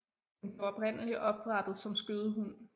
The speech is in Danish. Den blev oprindelig opdrættet som skødehund